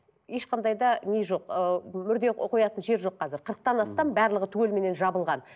ешқандай да не жоқ ыыы мүрде қоятын жер жоқ қазір қырықтан астам барлығы түгелменен жабылған